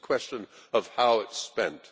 It is a question of how it is spent.